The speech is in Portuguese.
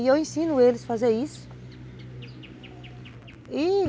E eu ensino eles a fazer isso.